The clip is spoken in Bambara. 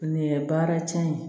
Ani baara cɛn